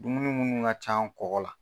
Dumuni munnu ŋa can kɔkɔ la